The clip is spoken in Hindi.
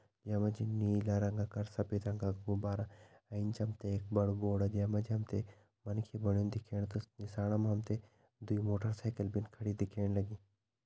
या मा जी नीला रंग का अर सफ़ेद रंगा का गुब्बारा एंच हम तें एक बड़ु बोर्ड जैं मा जी तें मनखी बण्युं दिख्येण त निसाण हम तें दुई मोटर साइकिल भीन खड़ी दिखेण लगीं।